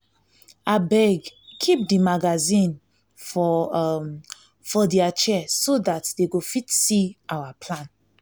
abeg keep the magazine for um for their chair so that dey go fit see our plan